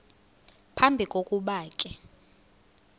phambi kokuba ke